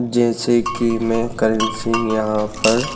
जैसे कि मैं करण सिह यहां पर--